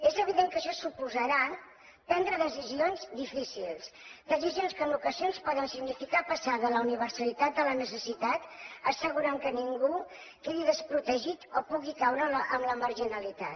és evident que això suposarà prendre decisions difícils decisions que en ocasions poden significar passar de la universalitat a la necessitat assegurant que ningú quedi desprotegit o pugui caure en la marginalitat